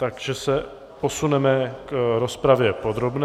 Takže se posuneme k rozpravě podrobné.